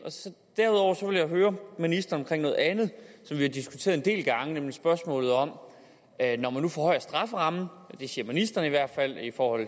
derudover vil jeg høre ministeren om noget andet som vi har diskuteret en del gange nemlig spørgsmålet om at når man nu forhøjer strafferammen det siger ministeren i hvert fald i forhold